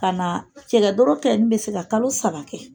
Ka na cɛkɛ doro kɛnin bɛ se ka kalo saba kɛ.